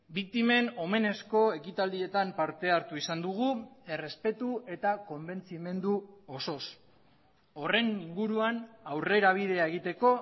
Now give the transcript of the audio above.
biktimen omenezko ekitaldietan parte hartu izan dugu errespetu eta konbentzimendu osoz horren inguruan aurrera bidea egiteko